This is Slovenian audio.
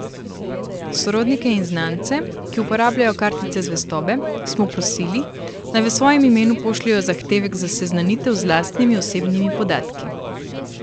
Sorodnike in znance, ki uporabljajo kartice zvestobe, smo prosili, naj v svojem imenu pošljejo zahtevek za seznanitev z lastnimi osebnimi podatki.